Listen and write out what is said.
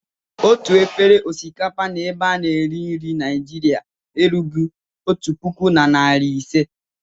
Otu efere osikapa n'ebe a na-eri nri Naịjiria erughị otu puku na narị ise.